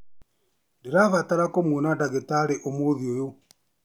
Nĩndĩrabatara kũmwona ndagĩtarĩ ũmũthĩ ũyũ